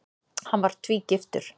Hann var tvígiftur.